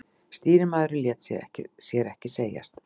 Stýrimaðurinn lét sér ekki segjast.